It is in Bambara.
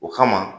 O kama